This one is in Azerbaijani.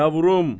Yavrum.